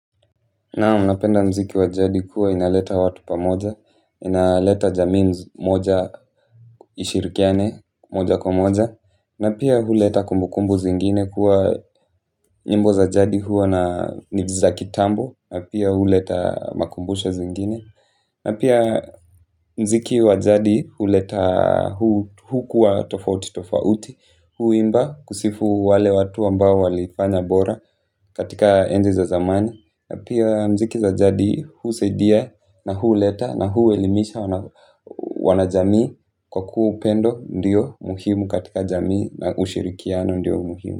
Naam napenda mziki wa jadi kuwa inaleta watu pamoja, inaleta jamii moja ishirikiane, moja kwa moja, na pia huleta kumbukumbu zingine kuwa nyimbo za jadi huwa na needs za kitambo, na pia huleta makumbusho zingine, na pia mziki wa jadi huleta hukuwa tofauti tofauti, huimba kusifu wale watu ambao walifanya bora katika enzi za zamani, pia mziki za jadi, husaidia na huleta na huelimisha wana jamii kwa kuwa upendo ndio muhimu katika jamii na ushirikiano ndio muhimu.